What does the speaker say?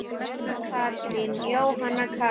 Jóhanna Katrín.